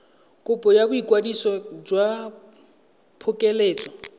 kopo ya boikwadiso jwa phokoletso